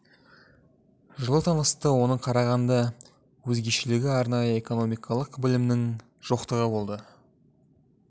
жылы танысты оның қарағанда өзгешелігі арнайы экономикалық білімінің жоқтығы болды